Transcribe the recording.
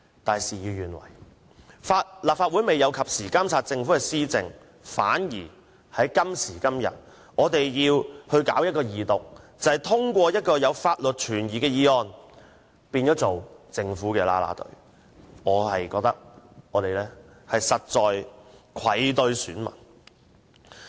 但是，事與願違，立法會未有及時監察政府的施政，今天反而要二讀一項存有法律疑點的《條例草案》，變成政府的"啦啦隊"，令我實在愧對選民。